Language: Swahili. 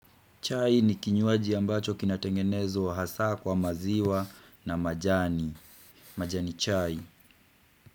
Chai ni kinywaji ambacho kinatengenezwa hasaa kwa maziwa na majani. Majani chai.